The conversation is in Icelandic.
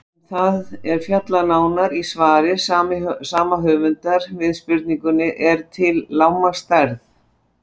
Um það er fjallað nánar í svari sama höfundar við spurningunni Er til lágmarksstærð?